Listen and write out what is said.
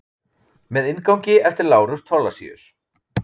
Með inngangi eftir Lárus Thorlacius.